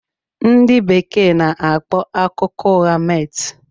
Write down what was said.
Ndị Bekee n'akpọ akụkọ ụgha 'myth'